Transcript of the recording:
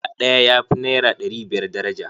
Dala ɗaya ya fi naira ɗari biyar daraja.